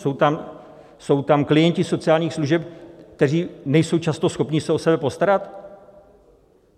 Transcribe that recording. Jsou tam klienti sociálních služeb, kteří nejsou často schopni se o sebe postarat?